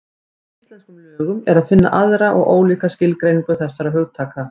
Í íslenskum lögum er að finna aðra og ólíka skilgreiningu þessara hugtaka.